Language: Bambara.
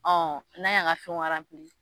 n'a y'an ga fɛn